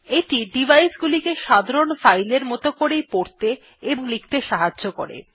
এইটি device গুলিকে সাধারণ ফাইলের মত করেই পড়তে ও লিখতে সাহায্য করে